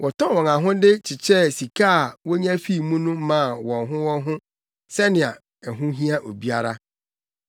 Wɔtɔn wɔn ahode kyekyɛɛ sika a wonya fii mu no maa wɔn ho wɔn ho sɛnea ɛho hia obiara.